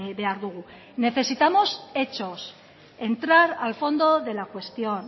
behar dugu necesitamos hechos entrar al fondo de la cuestión